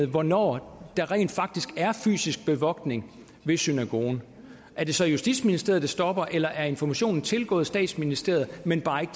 hvornår der rent faktisk er fysisk bevogtning ved synagogen er det så i justitsministeriet det stopper eller er informationen tilgået statsministeriet men bare